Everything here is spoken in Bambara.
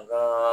An ka